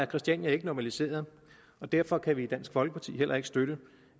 christiania er ikke normaliseret og derfor kan vi i dansk folkeparti heller ikke støtte